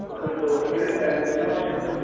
ਉਹ ਕੋਈ software ਪਾਇਆ ਹੁੰਦਾ ਉਹਨਾ ਦੇ ਉਹਦੇ ਚ